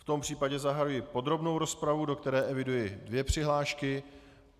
V tom případě zahajuji podrobnou rozpravu, do které eviduji dvě přihlášky.